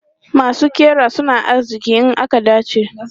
Masu ƙira suna arziki in aka dace.